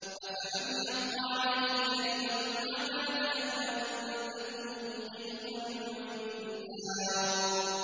أَفَمَنْ حَقَّ عَلَيْهِ كَلِمَةُ الْعَذَابِ أَفَأَنتَ تُنقِذُ مَن فِي النَّارِ